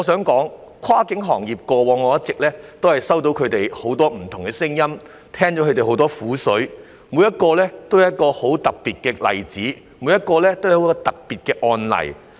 過往，我一直聽到跨境運輸行業很多不同的聲音，聽到很多業界人士的苦水，他們每一個都是很特別的案例。